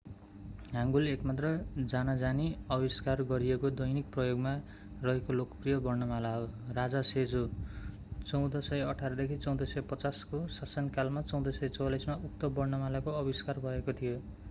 Hangul एकमात्र जानाजानी आविष्कार गरिएको दैनिक प्रयोगमा रहेको लोकप्रिय वर्णमाला हो। राजा सेजो 1418-1450 को शासनकालमा 1444 मा उक्त वर्णमालाको आविष्कार भएको थियो।